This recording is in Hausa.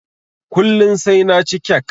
Kullun sai naci kek